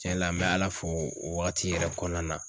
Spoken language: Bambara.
Tiɲɛ la n bɛ Ala fo o wagati yɛrɛ kɔɔna na.